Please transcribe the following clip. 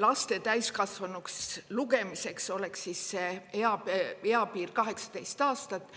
laste täiskasvanuks lugemiseks oleks eapiir 18 aastat.